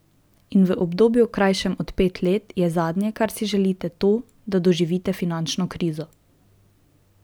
In v obdobju, krajšem od pet let, je zadnje, kar si želite, to, da doživite finančno krizo.